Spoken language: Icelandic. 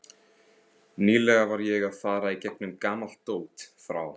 Nýlega var ég að fara í gegnum gamalt dót frá